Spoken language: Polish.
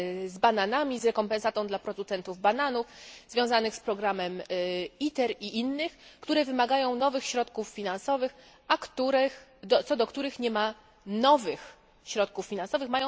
z bananami, z rekompensatą dla producentów bananów, związanych z programem ITER i innych, które wymagają nowych środków finansowych, a co do których nie ma nowych środków finansowych.